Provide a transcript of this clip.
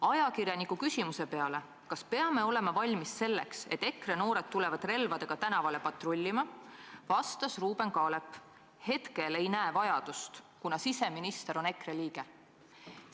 Ajakirjaniku küsimusele, kas peame olema valmis selleks, et EKRE noored tulevad relvadega tänavale patrullima, vastas Ruuben Kaalep: "Hetkel ei näe vajadust, kuna siseminister on EKRE liige.